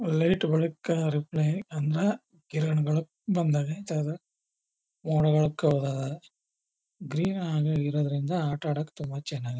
light ಬೆಳಕು reply ಅಂದ್ರ ಕಿರಣಗಳು ಬಂದಾಗ ಗ್ರೀನ್ ಆಗಿರೋದ್ರಿಂದ ಆಟ ಅಡೊಕು ತುಂಬಾ ಚನ್ನಾಗಿ--